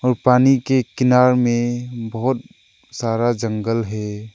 पानी के किनारे में बहोत सारा जंगल है।